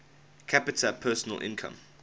capita personal income